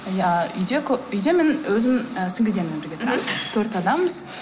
ы үйде мен өзім ыыы сіңлілеріммен бірге тұрамын төрт адамбыз